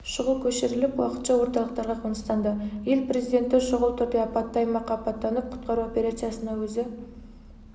шұғыл көшіріліп уақытша орталықтарға қоныстанды ел президенті шұғыл түрде апатты аймаққа аттанып құтқару операциясына өзі